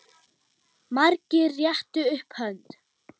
Margir réttu upp hönd.